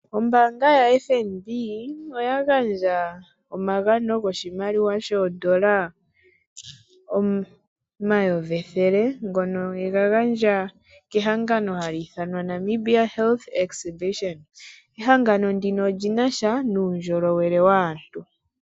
Ombanga ya FNB oya gandja omagano goshimaliwa shondola 100 000,00 ngono yegagandja kehangano halithanwa Namibia Health Exhibation ehangano ndino olinasha nuundjolowele waantu.